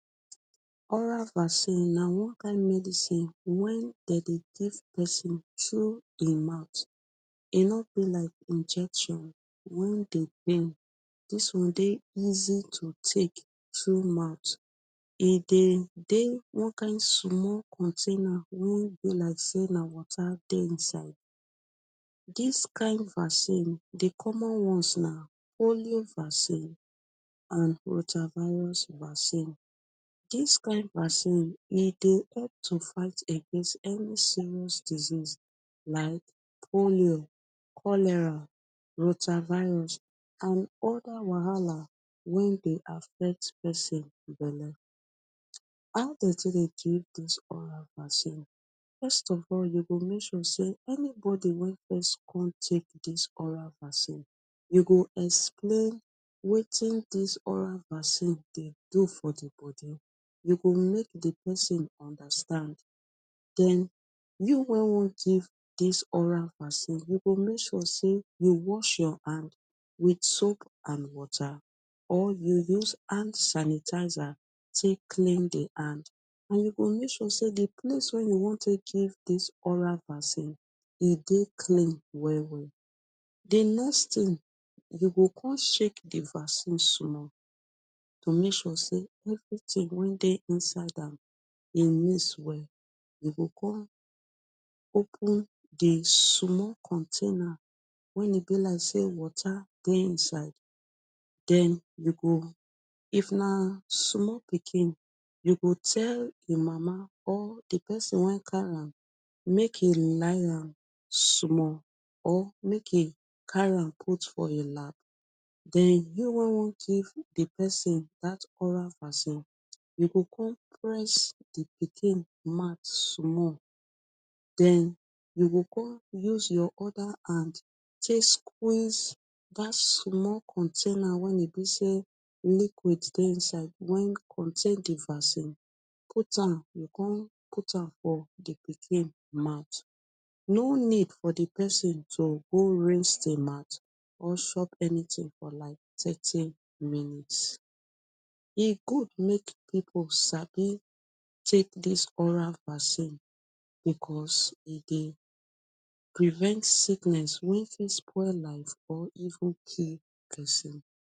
Oral vaccine na one kind medicine when de dey give person through e mouth. E no dey like injection wey dey pain. Dis one dey easy to take through mouth. E dey dey one kind small container wey be like sey na water dey inside. Dis kind vaccine, the common ones na polio vaccine and rotavirus vaccine. Dis kind vaccine, e dey help to fight against any serious disease like polio, cholera, rotavirus and other wahala wey dey affect person belle. How de take dey give dis oral vaccine? First of all, you go make sure sey, anybody wey first come take dis oral vaccine, you go explain wetin dis oral vaccine dey do for the body. You go make the pesin understand. Den you wey wan give dis oral vaccine, you go make sure say you wash your hand with soap and water or you use hand sanitizer take clean the hand. You go make sure sey the place wey you wan take give dis oral vaccine, e dey clean well well. The next thing, you go con shake the vaccine small to make sure sey everything wey dey inside am. E mix well. You go con open the small container wey e be like sey water dey inside. Den, you go if na small pikin, you go tell e mama or the person wey carry am make e lie am small or make e carry am put for im lap. Den you wey wan give the person dat oral vaccine, you go con press the pikin mouth small, den you go con use your other hand take squeeze dat small container when e be sey liquid dey inside wey contain the vaccine, cut am, you go con put am for the pikin mouth. No need for the person to go rinse e mouth or chop anything for like thirty minutes. E good make pipu sabi take dis oral vaccine because e dey prevent sickness wey fit spoil life or even kill pesin.